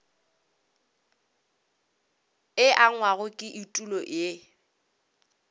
e angwago ke etulo ye